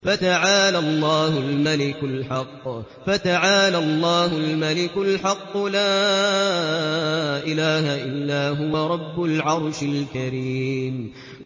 فَتَعَالَى اللَّهُ الْمَلِكُ الْحَقُّ ۖ لَا إِلَٰهَ إِلَّا هُوَ رَبُّ الْعَرْشِ الْكَرِيمِ